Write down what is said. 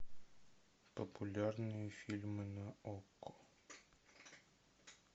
популярные фильмы на окко